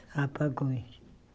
Rapagões.